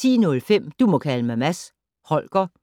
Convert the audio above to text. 10:05: Du må kalde mig Mads Holger 20:05: